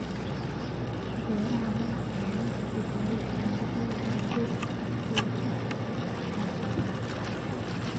Beeraha madax-bannaani waxay tijaabin karaan noocyada dalagga u adkeysan kara abaarta.